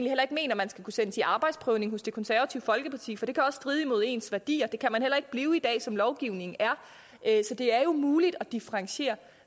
at man skal kunne sendes i arbejdsprøvning hos det konservative folkeparti for det kan også stride imod ens værdier det kan man heller ikke blive i dag som lovgivningen er så det er jo muligt at differentiere